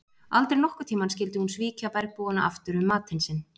Aldrei nokkurn tíma skyldi hún svíkja bergbúana aftur um matinn sinn.